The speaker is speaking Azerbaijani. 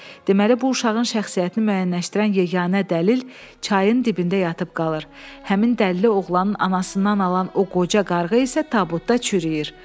Deməli, bu uşağın şəxsiyyətini müəyyənləşdirən yeganə dəlil çayın dibində yatıb qalır, həmin dəlili oğlanın anasından alan o qoca qarğa isə tabutda çürüyür.